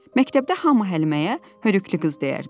Məktəbdə hamı Həliməyə hörükülük qız deyərdi.